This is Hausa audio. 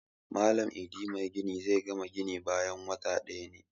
Malam Idi magini zai gama gini bayan wata ɗaya ne